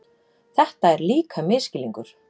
Þetta er líka misskilningur.